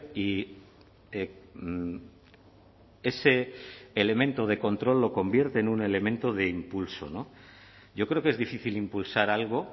y ese elemento de control lo convierte en un elemento de impulso yo creo que es difícil impulsar algo